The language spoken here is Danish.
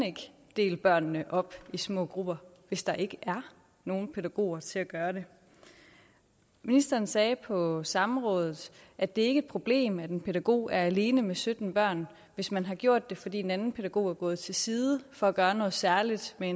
dele børnene op i små grupper hvis der ikke er nogen pædagoger til at gøre det ministeren sagde på samrådet at det ikke problem at en pædagog er alene med sytten børn hvis man har gjort det fordi en anden pædagog er gået til side for at gøre noget særligt med